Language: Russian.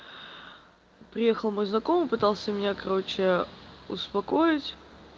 приехал мой знакомый пытался меня короче успокоить